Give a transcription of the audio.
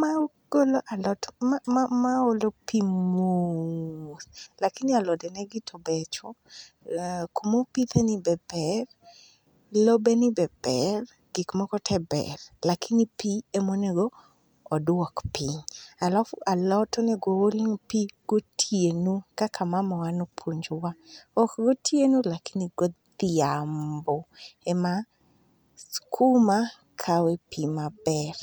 magolo alot matin magolo pi mos. Lakini alode negi to becho, kuma opitheni be ber, lobeni be ber, gik moko te ber. Lakini pi ema onego oduok piny. Alafu alot onego ool negi pi gotieno, kaka mamawa ne opuonjowa. Gotieno lakini godhiambo ema sikuma kawe pi maber.